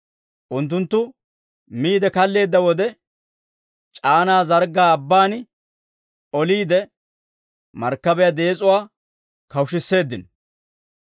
Unttunttu miide kaalleedda wode, c'aanaa zarggaa abbaan oliide markkabiyaa dees'uwaa kawushisseeddino.